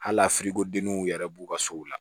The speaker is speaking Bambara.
Hali a denniw yɛrɛ b'u ka sow la